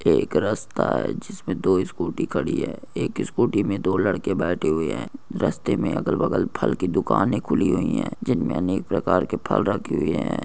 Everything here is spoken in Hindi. एक रास्ता है जिसमे दो स्कूटी खड़ी है एक स्कूटी में दो लड़के बैठे हुए है रस्ते में अगल बगल फल की दुकान खुली हुई है जिनमे अनेक प्रकार के फल रखे हुए है।